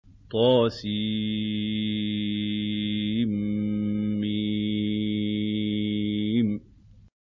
طسم